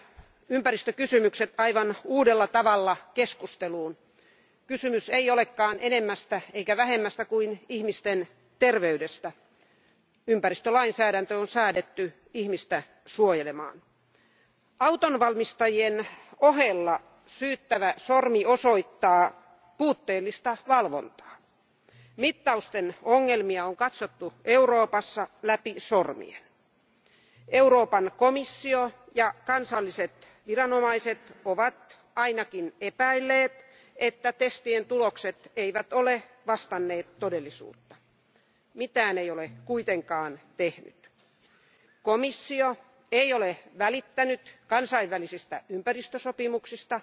Arvoisa puhemies, Volkswagen skandaali on nostanut ilmanlaadun ja ympäristökysymykset aivan uudella tavalla keskusteluun. Kysymys ei olekaan enemmästä eikä vähemmästä kuin ihmisten terveydestä. Ympäristölainsäädäntö on säädetty ihmistä suojelemaan. Autonvalmistajien ohella syyttävä sormi osoittaa puutteellista valvontaa. Mittausten ongelmia on katsottu Euroopassa läpi sormien. Euroopan komissio ja kansalliset viranomaiset ovat ainakin epäilleet, että testien tulokset ei ole vastanneet todellisuutta. Mitään ei ole kuitenkaan tehty. Komissio ei ole välittänyt kansainvälisistä ympäristösopimuksista,